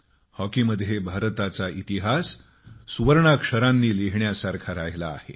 हॉकीमध्ये भारताचा इतिहास सुवर्णाने लिहिण्यासारखा राहिला आहे